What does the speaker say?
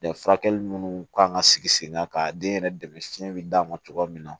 furakɛli munnu kan ka sigi sen kan ka den yɛrɛ dɛmɛ si d'a ma cogoya min na